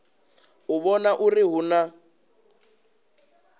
u vhona uri hu na